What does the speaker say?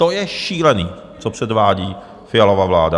To je šílený, co předvádí Fialova vláda!